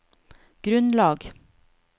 grunnlag